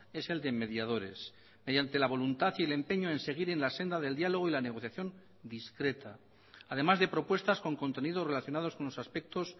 es el de mediadores mediante la voluntad y el empeño en seguir en la senda del diálogo y la negociación discreta además de propuestas con contenidos relacionados con los aspectos